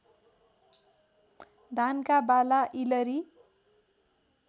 धानका बाला इलरी